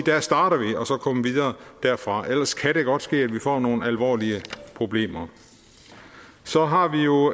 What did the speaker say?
at og så komme videre derfra ellers kan det godt ske at vi får nogle alvorlige problemer så har vi jo